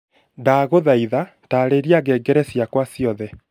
ndaguthaitha taarĩria ngengere ciakwa ciothe